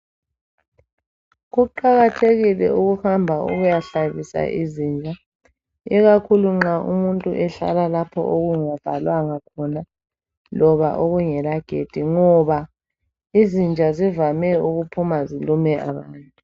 Kuqakathekile ukuhamba ukuyahlabisa izinja. Ikakhulu nxa umuntu ehlala lapho okungavalwanga khona Loba okungelagedi ngoba izinja zivame ukuphuma zihambe zilume abantu.